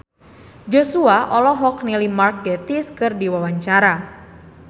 Joshua olohok ningali Mark Gatiss keur diwawancara